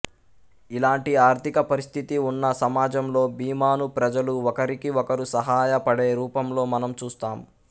ఇలాంటి ఆర్థిక పరిస్థితి ఉన్న సమాజంలో బీమాను ప్రజలు ఒకరికి ఒకరు సహాయ పడే రూపంలో మనం చూస్తాం